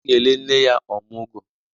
A ga-ele nne ya ọmụgọ.